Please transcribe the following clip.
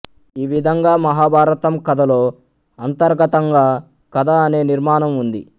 ఈ విధంగా మహాభారతం కథలో అంతర్గతంగా కథ అనే నిర్మాణం ఉంది